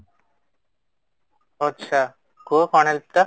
ଆଛା କୁହ କ'ଣ help ଟା?